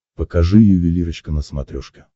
покажи ювелирочка на смотрешке